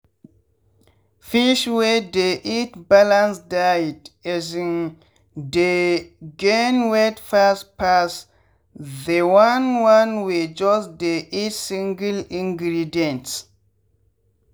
fish wey dey eat balance diet um dey gain weight fast pass the one one wey just dey eat single-ingredients.